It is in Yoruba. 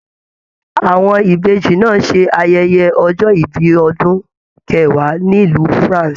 Àwọn Ìbejì náà se ayẹyẹ ọjọ ìbí ọdún kẹwàá nílu France.